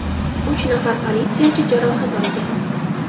Uch nafar politsiyachi jarohat olgan.